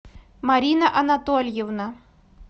марина анатольевна